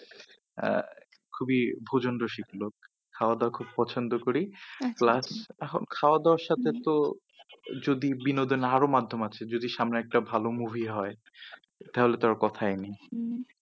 আহ খুবই ভোজন রসিক লোক। খাওয়া দাওয়া খুব পছন্দ করি plus এখন খাওয়া দাওয়ার সাথে তো যদিও বিনোদনের আরো মাধ্যম আছে যদি সামনে একটা ভালো movie হয় তাহলে তো আর কথাই নেই। উম